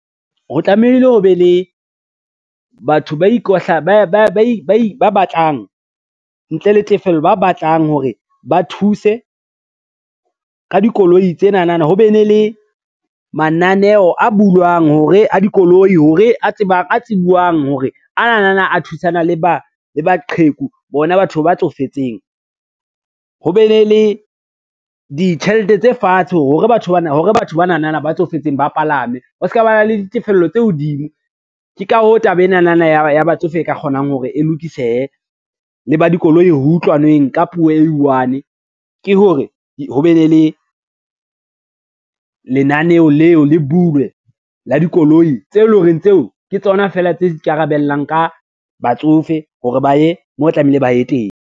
Ho tlamehile ho be le batho ba batlang ntle le tefello, ba batlang hore ba thuse ka dikoloi tsenana ho be ne le mananeo a bulwang a dikoloi a tsibuwang hore anana a thusana le baqheku bona batho ba tsofetseng. Ho be ne le ditjhelete tse fatshe hore batho banana ba tsofetseng ba palame ho ska ba na le ditefello tse hodimo. Ke ka hoo taba enanana ya batsofe e ka kgonang hore e lokisehe, le ba dikoloi ho utlwaneng ka puo e i-one, ke hore ho be ne le lenaneo leo le bulwe la dikoloi tse lo reng tseo ke tsona fela tse ikarabellang ka batsofe hore ba ye moo tlamehile ba ye teng.